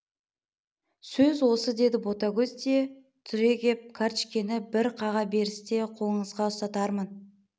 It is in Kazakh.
сөз осы деді ботагөз де түрегеп картішкені бір қаға берісте қолыңызға ұстатармын